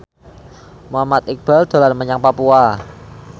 Muhammad Iqbal dolan menyang Papua